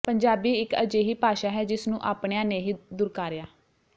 ਪੰਜਾਬੀ ਇਕ ਅਜਿਹੀ ਭਾਸ਼ਾ ਹੈ ਜਿਸ ਨੂੰ ਆਪਣਿਆਂ ਨੇ ਹੀ ਦੁਰਕਾਰਿਆ